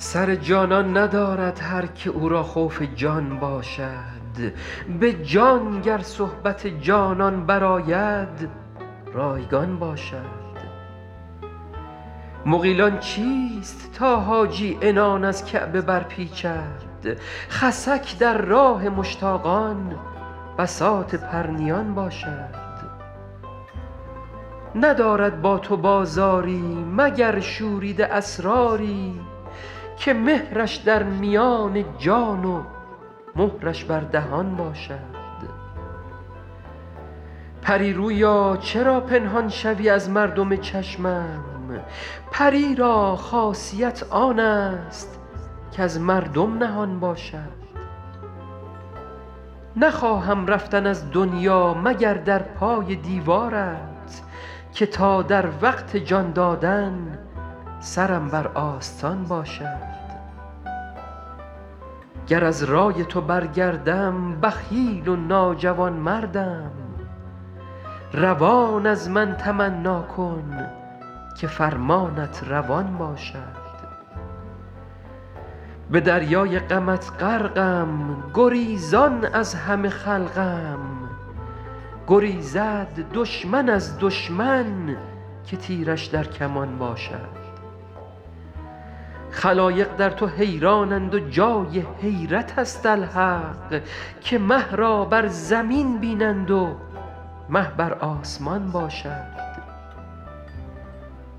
سر جانان ندارد هر که او را خوف جان باشد به جان گر صحبت جانان برآید رایگان باشد مغیلان چیست تا حاجی عنان از کعبه برپیچد خسک در راه مشتاقان بساط پرنیان باشد ندارد با تو بازاری مگر شوریده اسراری که مهرش در میان جان و مهرش بر دهان باشد پری رویا چرا پنهان شوی از مردم چشمم پری را خاصیت آن است کز مردم نهان باشد نخواهم رفتن از دنیا مگر در پای دیوارت که تا در وقت جان دادن سرم بر آستان باشد گر از رای تو برگردم بخیل و ناجوانمردم روان از من تمنا کن که فرمانت روان باشد به دریای غمت غرقم گریزان از همه خلقم گریزد دشمن از دشمن که تیرش در کمان باشد خلایق در تو حیرانند و جای حیرت است الحق که مه را بر زمین بینند و مه بر آسمان باشد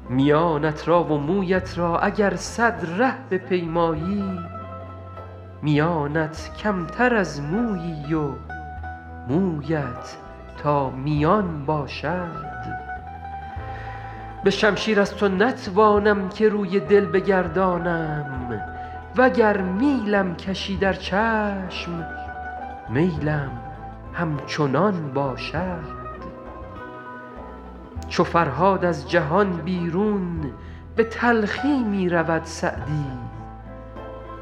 میانت را و مویت را اگر صد ره بپیمایی میانت کمتر از مویی و مویت تا میان باشد به شمشیر از تو نتوانم که روی دل بگردانم و گر میلم کشی در چشم میلم همچنان باشد چو فرهاد از جهان بیرون به تلخی می رود سعدی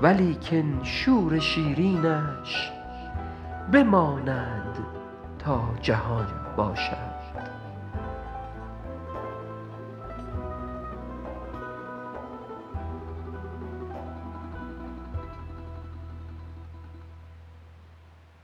ولیکن شور شیرینش بماند تا جهان باشد